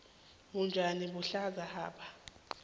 utjani buhlaza hapa